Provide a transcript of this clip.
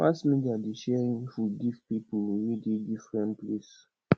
mass media dey share info give pipo wey dey differen place